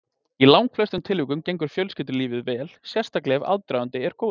Í langflestum tilvikum gengur fjölskyldulífið vel, sérstaklega ef aðdragandinn er góður.